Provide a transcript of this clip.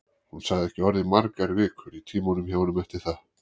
Hún sagði ekki orð í margar vikur í tímunum hjá honum eftir það.